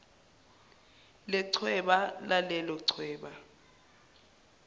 lechweba lalelo chweba